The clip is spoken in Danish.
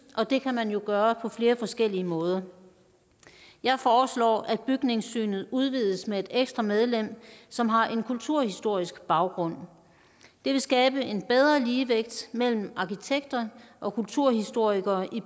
og det kan man jo gøre på flere forskellige måder jeg foreslår at bygningssynet udvides med et ekstra medlem som har en kulturhistorisk baggrund det vil skabe en bedre ligevægt mellem arkitekter og kulturhistorikere i